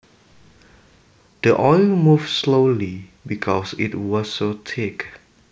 The oil moved slowly because it was so thick